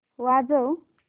वाजव